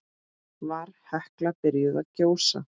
Var Hekla byrjuð að gjósa?